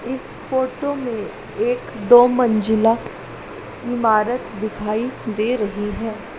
इस फोटो में एक दो मंजिला इमारत दिखाई दे रही है।